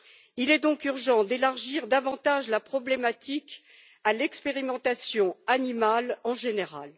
Il est donc urgent d'élargir davantage la problématique à l'expérimentation animale, en général.